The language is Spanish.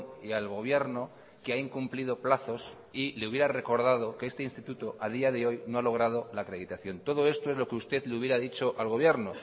y al gobierno que ha incumplido plazos y le hubiera recordado que este instituto a día de hoy no ha logrado la acreditación todo esto es lo que usted le hubiera dicho al gobierno